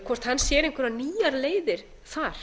hvort hann sér einhverjar nýjar leiðir þar